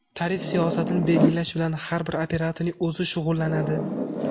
Tarif siyosatini belgilash bilan har bir operatorning o‘zi shug‘ullanadi.